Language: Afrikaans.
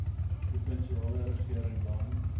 provinsiale regering dan